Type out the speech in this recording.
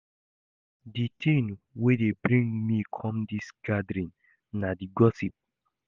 The thing wey dey bring me come dis gathering na the gossip